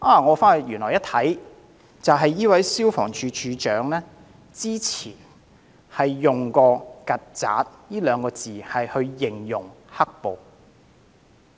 我翻查資料後，發現這位消防處處長早前原來用過"曱甴"二字形容"黑暴"。